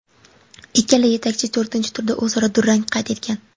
Ikkala yetakchi to‘rtinchi turda o‘zaro durang qayd etgan.